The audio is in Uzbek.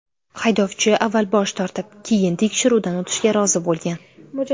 Haydovchi avval bosh tortib, keyin tekshiruvdan o‘tishga rozi bo‘lgan.